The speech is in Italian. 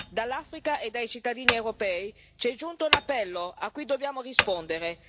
Dall'Africa e dai cittadini europei ci è giunto un appello a cui dobbiamo rispondere.